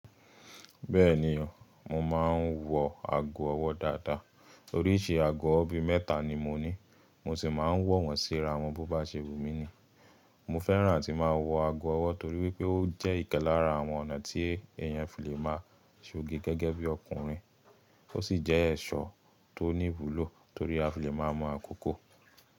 Bẹ́ẹ̀ni o, mo máa ń wọ ago ọwọ́ dáadáa. Oríṣi ago ọwọ́ bí mẹ́ta ni mo ní, mo ṣì máa ń wọ̀n síra wọn bó bá ṣe wùmí ni. Mo fẹ́ràn àti máa wọ ago ọwọ́ torí wípé ó jẹ́ nkan lara àwọn ọ̀nà tí èèyàn fi le máa ṣoge gẹ́gẹ́ bí ọkùnrin. Ó sì jẹ́ ẹ̀ṣọ́ tó ní ìwúlò torí a fi le máa mọ àkókò.